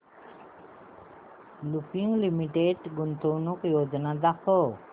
Lupin limited गुंतवणूक योजना दाखव